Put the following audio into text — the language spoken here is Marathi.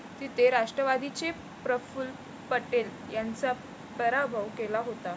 तिथे राष्ट्रवादीचे प्रफुल्ल पटेल यांचा पराभव केला होता.